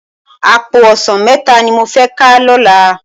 Àpó òsán mètá ni mó fè ká lòlá